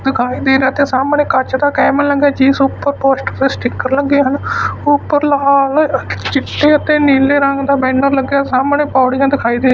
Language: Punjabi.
ਦਿਖਾਈ ਦੇ ਰਿਹਾ ਤੇ ਸਾਹਮਣੇ ਕੱਚ ਦਾ ਕੈਬਿਨ ਲੱਗਾ ਜਿਸ ਉੱਪਰ ਪੋਸਟਰ ਤੇ ਸਟੀਕਰ ਲੱਗੇ ਹਨ ਉਪਰ ਲਾਲ ਚਿੱਟੇ ਅਤੇ ਨੀਲੇ ਰੰਗ ਦਾ ਬੈਨਰ ਲੱਗਿਆ ਸਾਹਮਣੇ ਪੌੜੀਆਂ ਦਿਖਾਈ ਦੇ ਰਹੀ--